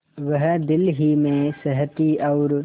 वह दिल ही में सहती और